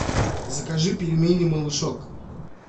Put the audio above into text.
закажи пельмени малышок